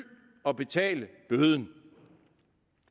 og betale bøden